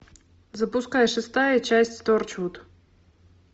запускай шестая часть торчвуд